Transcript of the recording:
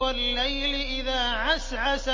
وَاللَّيْلِ إِذَا عَسْعَسَ